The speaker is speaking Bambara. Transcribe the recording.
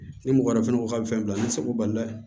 Ni mɔgɔ wɛrɛ fɛnɛ ko k'a bɛ fɛn bila n'i seko balila